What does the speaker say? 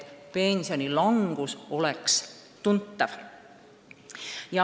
Pensionilangus oleks seega tuntav.